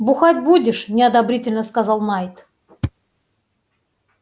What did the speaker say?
бухать будешь неодобрительно сказал найд